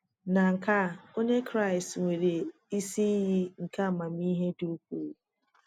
Na nke à onye Kraịst nwere isi iyi nke amamihe dị ukwuu.